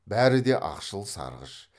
бәрі де ақшыл сарғыш